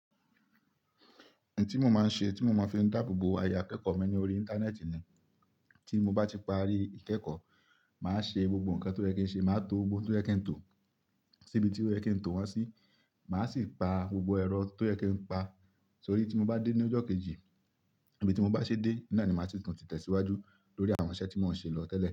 Ẹ̀ní tí mo máa ń ṣe, tí mo máa fi ń dáàbò bo ayé akẹ́kọ̀ọ́ mi ní orí Íńtánẹ́ẹ̀tì ni. Tí mo bá ti parí ìkẹ́kọ̀ọ́, màá ṣe gbogbo nǹkan tó yẹ kí ń ṣe, màá to ohun tó yẹ kí ń tò sí ibi tó yẹ kí ń tò wọ́n sí. Màá sì pa gbogbo ẹrọ tó yẹ kí ń pa. Torí tí mo bá dé ní ọjọ́ kejì, ibi tí mo bá ṣe dé ni ní máa sì tún ti tẹ̀síwájú lórí àwọn iṣẹ́ tí mò ń ṣe lọ tẹ́lẹ̀.